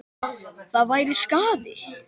Það væri skaði.